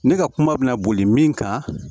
Ne ka kuma bɛ boli min kan